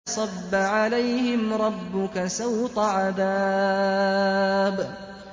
فَصَبَّ عَلَيْهِمْ رَبُّكَ سَوْطَ عَذَابٍ